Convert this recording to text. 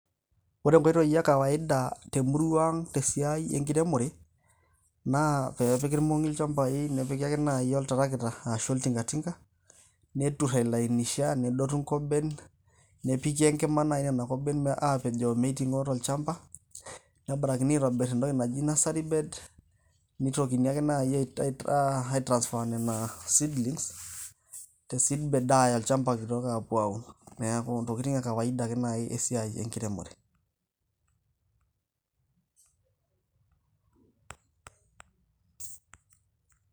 Ore enkoitoi e kawaida temurua ang' tesiai enkiremore, na pepiki ilmong'i ilchambai nepiki ake nai oltarakita, ashu oltinkatinka, netur ailainisha, nedotu nkoben, nepiki enkima nai nena koben apejoo meiting'o nai tolchamba. Nebarakini aitobir entoki naji nursery bed ,neitokini ake nai a transfer nena seedlings ,te seedbed aaya olchamba kitok apuo aun. Neeku ntokitin e kawaida ake nai esiai enkiremore.